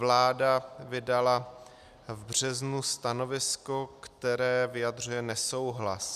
Vláda vydala v březnu stanovisko, které vyjadřuje nesouhlas.